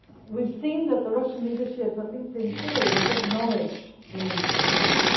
We have seen that the Russian leadership, at least in theory, has acknowledged the need for change.